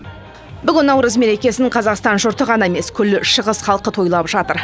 бүгін наурыз мерекесін қазақстан жұрты ғана емес күллі шығыс халқы тойлап жатыр